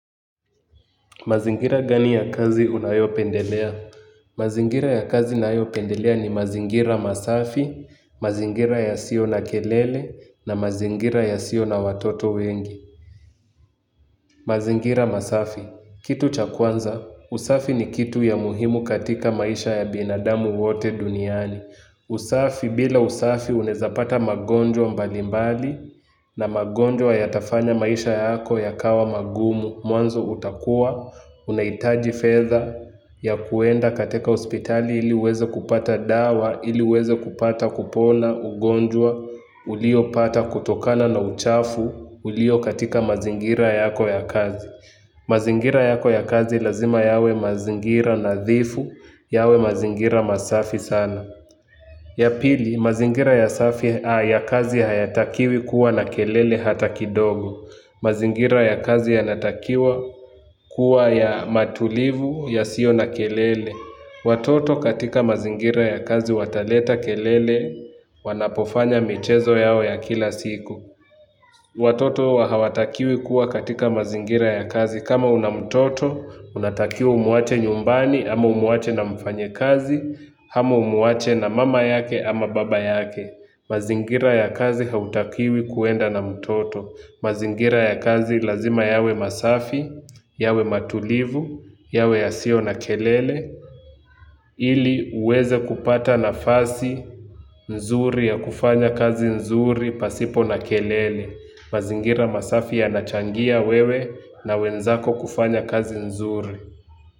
Mazingira gani ya kazi unayopendelea? Mazingira ya kazi nayopendelea ni mazingira masafi, mazingira yasiyo na kelele na mazingira yasiyo na watoto wengi. Mazingira masafi, kitu cha kwanza, usafi ni kitu ya muhimu katika maisha ya binadamu wote duniani. Usafi bila usafi unaeza pata magonjwa mbalimbali na magonjwa yatafanya maisha yako yakawa magumu. Mwanzo utakuwa, unaitaji fedha ya kuenda katika hospitali ili ueze kupata dawa, ili ueze kupata kupona ugonjwa, ulio pata kutokana na uchafu, ulio katika mazingira yako ya kazi. Mazingira yako ya kazi lazima yawe mazingira nadhifu, yawe mazingira masafi sana. Ya pili, mazingira ya kazi hayatakiwi kuwa na kelele hata kidogo. Mazingira ya kazi yanatakiwa kuwa ya matulivu yasiyo na kelele. Watoto katika mazingira ya kazi wataleta kelele wanapofanya michezo yao ya kila siku. Watoto hawatakiwi kuwa katika mazingira ya kazi. Kama una mtoto, unatakiwa umuache nyumbani, ama umuache na mfanyikazi, ama umuache na mama yake ama baba yake. Mazingira ya kazi hautakiwi kuenda na mtoto. Mazingira ya kazi lazima yawe masafi, yawe matulivu, yawe yasiyo na kelele. Ili uweze kupata nafasi nzuri ya kufanya kazi nzuri pasipo na kelele. Mazingira masafi yanachangia wewe na wenzako kufanya kazi nzuri.